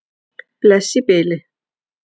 Bless í bili.